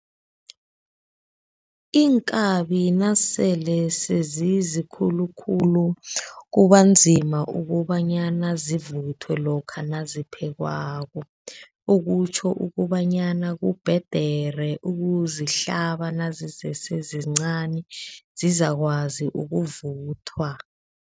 Iinkabi nasele sezizikhulukhulu kubanzima ukobanyana zivuthwe lokha naziphekwako, okutjho ukobanyana kubhedere ukuzihlaba nazisese zizincani sizakwazi ukuvuthwa.